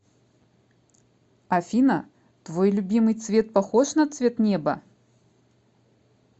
афина твой любимый цвет похож на цвет неба